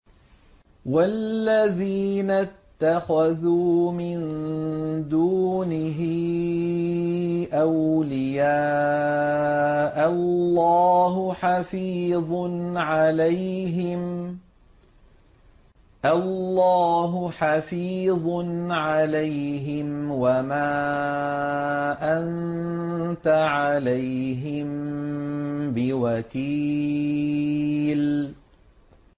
وَالَّذِينَ اتَّخَذُوا مِن دُونِهِ أَوْلِيَاءَ اللَّهُ حَفِيظٌ عَلَيْهِمْ وَمَا أَنتَ عَلَيْهِم بِوَكِيلٍ